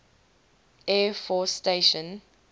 air force station